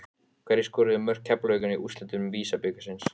Sem leiðir hugann að því: Hvað með komandi kynslóðir?